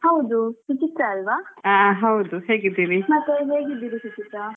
ಹೌದು ಸುಚಿತ್ರ ಅಲ್ವ.